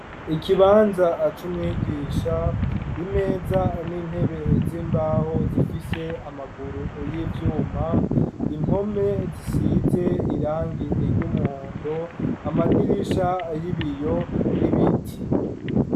Ikibanza cumwigisha, imeza n'intebe z'imbaho, zifise amaguru y'ivyuma ,impome zisize irangi iry'umuhondo amadirisha y'ibiyo ,ibiti.